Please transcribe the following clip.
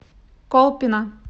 колпино